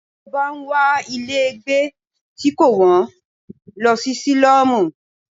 Tí o bá ń wá ilé gbé tí kò wón, lọ sí sílọ́mù.